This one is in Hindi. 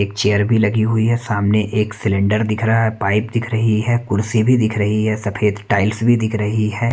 एक चेयर भी लगी हुई है सामने एक सिलेंडर दिख रहा है पाइप दिख रही है कुर्सी भी दिख रही है सफेद टाइल्स भी दिख रही है।